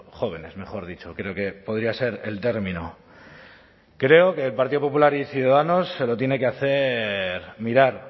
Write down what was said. jóvenes mejor dicho creo que podría ser el término creo que el partido popular y ciudadanos se lo tiene que hacer mirar